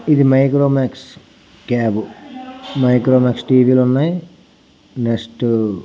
ఇది Micromax cab micro mask TV లున్నాయి next--